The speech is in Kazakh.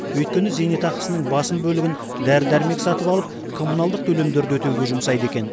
өйткені зейнетақысының басым бөлігін дәрі дәрмек сатып алып коммуналдық төлемдерді өтеуге жұмсайды екен